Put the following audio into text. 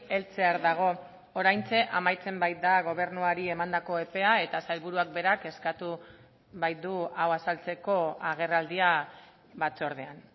heltzear dago oraintxe amaitzen baita gobernuari emandako epea eta sailburuak berak eskatu baitu hau azaltzeko agerraldia batzordean